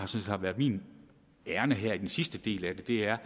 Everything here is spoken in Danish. set har været mit ærinde her i den sidste del af det er